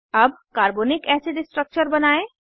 अब carbonic acid structure बनायें